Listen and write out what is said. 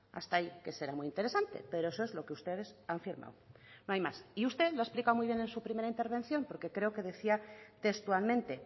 hasta ahí que será muy interesante pero eso es lo que ustedes han firmado y usted lo ha explicado muy bien en su primera intervención porque creo que decía textualmente